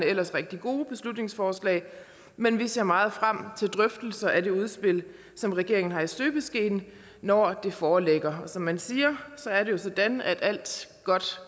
ellers rigtig gode beslutningsforslag men vi ser meget frem til drøftelserne af det udspil som regeringen har i støbeskeen når det foreligger og som man siger er det jo sådan at alt godt